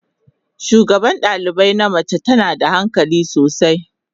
Shugaban dalibai na mace tana da hankali sosai.